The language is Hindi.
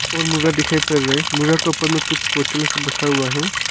और मोरा दिखाइ पर रहा मोरा के उपर मे कुछ बोतलों सब रखा हुआ है।